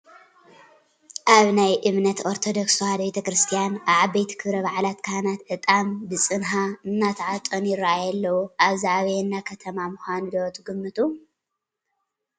ኣብ ናይ እምነት ኦርቶዶክስ ተዋህዶ ቤተ ክርስትያን ኣብ ዓበይቲ ክብረ ባዓላት ካህናት ዕጣን ብፅንሃ እንትዓጥኑ ይራኣዩ ኣለው፡፡ እዚ ኣበየና ከተማ ምዃኑ ዶ ትግምቱ?